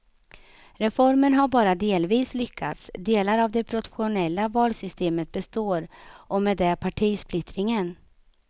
Reformen har bara delvis lyckats, delar av det proportionella valsystemet består och med det partisplittringen.